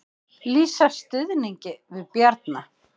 Lýsa stuðningi við Bjarna